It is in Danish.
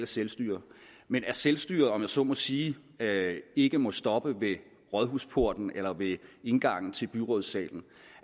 selvstyre men at selvstyre om jeg så må sige ikke må stoppe ved rådhusporten eller ved indgangen til byrådssalen